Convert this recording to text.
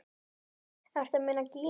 Ertu að meina Gínu?